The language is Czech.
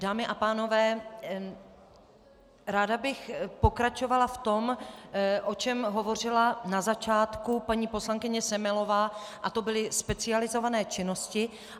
Dámy a pánové, ráda bych pokračovala v tom, o čem hovořila na začátku paní poslankyně Semelová, a to byly specializované činnosti.